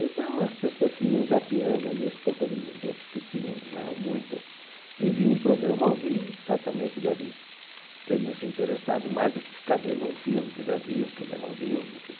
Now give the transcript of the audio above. Então, as pessoas que iam zapeando ali as poucas emissoras que tinham, não eram muitas, e viam um programa ao vivo, certamente devem teriam se interessado mais do que ficar vendo um filme que já viu, que já não viu, enfim.